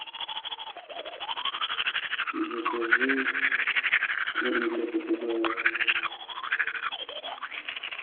закажи корм для попугаев